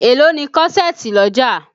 Èló ni kọ́ṣẹ̀ẹ̀tì lọ́jà?